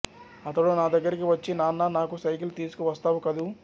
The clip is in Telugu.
అతడు నా దగ్గరకు వచ్చి నాన్నా నాకు సైకిలు తీసుకు వస్తావు కదూ